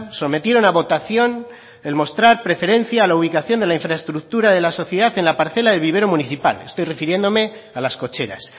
sometieron a votación el mostrar preferencia a la ubicación de la infraestructura de la sociedad en la parcela del vivero municipal estoy refiriéndome a las cocheras